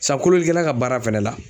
Sa kololikɛla ka baara fɛnɛ la